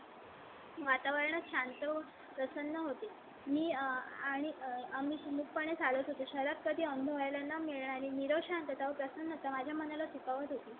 वातावरण शांत प्रसन्न होते. मी आणि आम्ही मूक पणे चालत होतो. शहरात कधी अनुभवायला मिळाली नीरव शांतता, प्रसन्नता माझ्या मनाला शिवत होती.